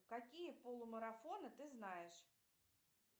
какие полумарафоны ты знаешь